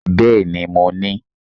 Bẹ́ẹ̀ni mo ní